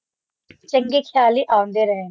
ਚੰਗੇ ਖ਼ਿਆਲ ਹੀ ਆਉਂਦੇ ਰਹਿਣ